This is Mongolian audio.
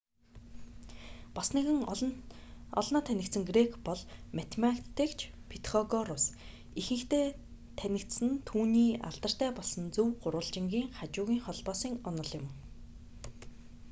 бас нэгэн олноо танигдсан грек бол математикч петхогорус ихэнхдээ танигдсан нь түүний алдартай болсон зөв гурвалжингын хажуугын холбоосын онол юм